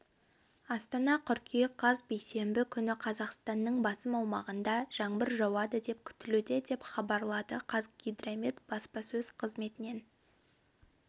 астана қыркүйек қаз бейсенбі күні қазақстанның басым аумағында жаңбыр жауады депкүтілуде деп хабарлады қазгидромет баспасөз қызметінен